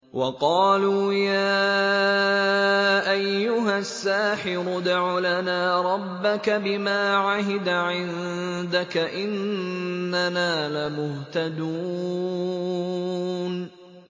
وَقَالُوا يَا أَيُّهَ السَّاحِرُ ادْعُ لَنَا رَبَّكَ بِمَا عَهِدَ عِندَكَ إِنَّنَا لَمُهْتَدُونَ